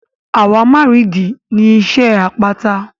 Àwámárììdí ni iṣẹ́ àpáta.